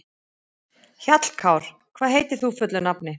Hjallkár, hvað heitir þú fullu nafni?